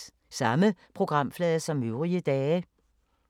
Samme programflade som øvrige dage